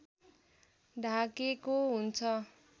ढाकेको हुन्छ